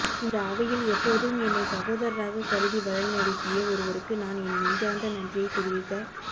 இந்த அவையில் எப்போதும் என்னை சகோதரராகக் கருதி வழிநடத்திய ஒருவருக்கு நான் என் நெஞ்சார்ந்த நன்றியைத் தெரிவிக்க